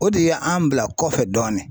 O de ye an bila kɔfɛ dɔɔnin